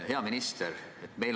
Hea minister!